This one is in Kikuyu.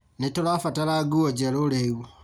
Nĩtũrabatara nguo njerũ rĩu